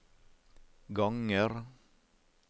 ganger